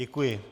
Děkuji.